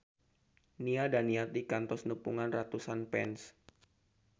Nia Daniati kantos nepungan ratusan fans